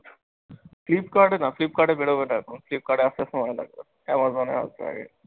flipkart এ না, flipkart এ বেরোবে না এখন। flipkart আসতে সময় লাগবে। Amazon এ আসবে আগে।